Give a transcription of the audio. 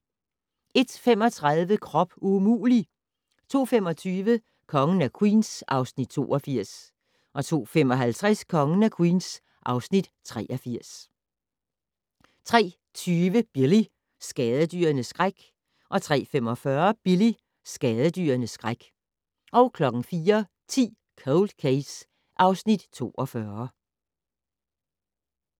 01:35: Krop umulig! 02:25: Kongen af Queens (Afs. 82) 02:55: Kongen af Queens (Afs. 83) 03:20: Billy - skadedyrenes skræk 03:45: Billy - skadedyrenes skræk 04:10: Cold Case (Afs. 42)